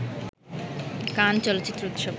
কান চলচ্চিত্র উৎসব